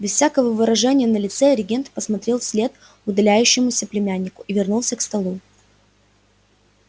без всякого выражения на лице регент посмотрел вслед удаляющемуся племяннику и вернулся к столу